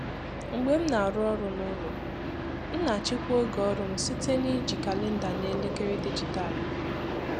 Mgbe m na-arụ ọrụ n'ụlọ, m na-achịkwa ògè ọrụ m site n'iji kalenda na elekere dijịtalụ